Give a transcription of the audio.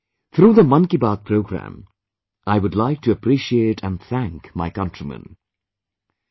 Today, through the Man Ki Baat program, I would like to appreciate and thank my countrymen